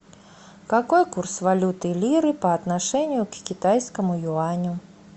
какой курс валюты лиры по отношению к китайскому юаню